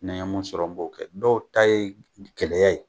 Ni ye mun sɔrɔ n b'o kɛ dɔw ta ye gɛlɛya ye